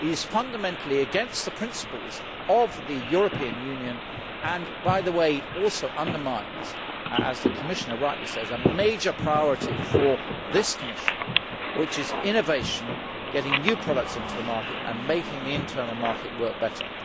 It is fundamentally against the principles of the European Union and, by the way, it also undermines as the Commissioner rightly says a major priority for this Commission, which is innovation, getting new products into the market and making the internal market work better.